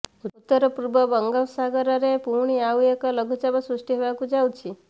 ଉତ୍ତର ପୂର୍ବ ବଙ୍ଗୋପସାଗରରେ ପୁଣି ଆଉ ଏକ ଲଘୁଚାପ ସୃଷ୍ଟି ହେବାକୁ ଯାଉଛି